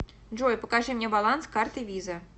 джой покажи мне баланс карты виза